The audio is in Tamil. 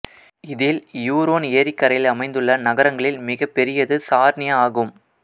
இதில் இயூரோன் ஏரிக்கரையில் அமைந்துள்ள நகரங்களில் மிகப்பெரியது சார்னியா ஆகும்